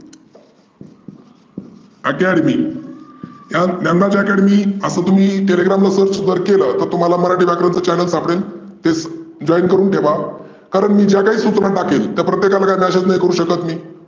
Academy Dnyanraj Academy आसं तुम्ही Telegram ला search जर तुम्ही केलं तुम्हाला मराठी व्याकरणच channel सापडेल तेच join करून ठेवा. तर मी ज्या काही सुचना टाकेल त्या प्रत्येक मी.